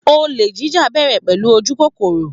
Olè jíjà ń bẹ̀rẹ̀ pẹ̀lú ojú kókóró